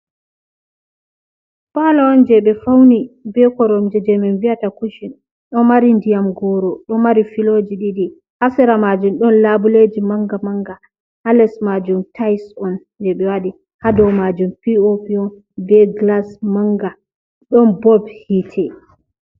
Palo on je ɓe fauni be koromje je min biata kushin, ɗo mari diyam goro ɗo mari filoji ɗiɗi, ha sera majun ɗon labuleji manga manga, ha les majum tise on je ɓe waɗi, ha dou majum bo pop on be glas manga, ɗon bob hitte.